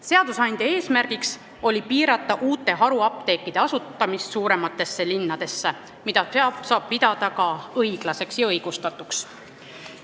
Seadusandja eesmärk oli piirata uute haruapteekide asutamist suurematesse linnadesse, mida saab pidada ka õiglaseks ja õigustatuks.